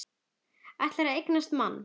Ætlar að eignast mann.